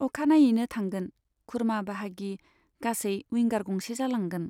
अखानायैनो थांगोन, खुरमा बाहागि गासै उइंगार गंसे जालांगोन।